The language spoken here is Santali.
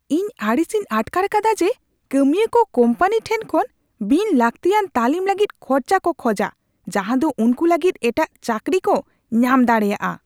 ᱤᱧ ᱟᱹᱲᱤᱥᱤᱧ ᱟᱴᱠᱟᱨ ᱟᱠᱟᱫᱟ ᱡᱮ ᱠᱟᱹᱢᱤᱭᱟᱹᱠᱚ ᱠᱳᱢᱯᱟᱱᱤ ᱴᱷᱮᱱ ᱠᱷᱚᱱ ᱵᱤᱱ ᱞᱟᱹᱠᱛᱤᱭᱟᱱ ᱛᱟᱹᱞᱤᱢ ᱞᱟᱹᱜᱤᱫ ᱠᱷᱚᱨᱪᱟ ᱠᱚ ᱠᱷᱚᱡᱟ ᱡᱟᱦᱟᱸ ᱫᱚ ᱩᱱᱠᱩ ᱞᱟᱹᱜᱤᱫ ᱮᱴᱟᱜ ᱪᱟᱹᱠᱨᱤ ᱠᱚ ᱧᱟᱢ ᱫᱟᱲᱮᱭᱟᱜᱼᱟ ᱾